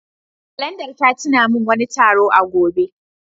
Kalandar ta tuna min wani taro a gobe.